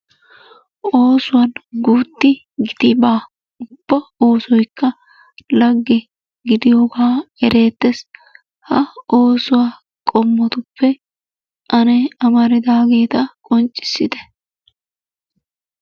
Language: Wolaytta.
Oosuwan guutti giti baa. Ubba oossoykka lagge gidiyoogaa ereettes. Ha oosuwa qommotuppe ane amaridaageeta qonccissite.